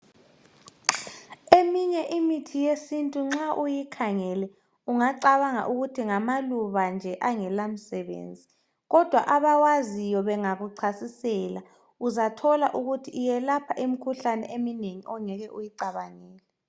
Eminye imithi yesiNtu nxa uyikhangele ungacabanga ukuthi ngamalubanje angelamsebenzi kodwa abawaziyo bengakuchasisela uzathola ukuthi iyelapha imikhuhlane eminengi ongeke uyicabangele.